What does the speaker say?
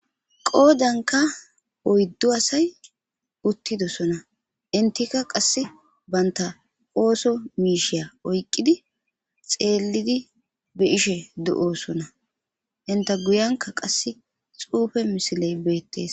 Qoodanka oyddu asay uttidosona intika qasse baynta ooso miishiya oyqqidi xeellidi be ishe do'osona inta guyanka qass xuufe misiley beettees